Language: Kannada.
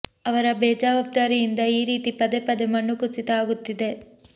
ಅವರ ಬೇಜವಾಬ್ದಾರಿಯಿಂದ ಈ ರೀತಿ ಪದೇ ಪದೇ ಮಣ್ಣು ಕುಸಿತ ಆಗುತ್ತಿದೆ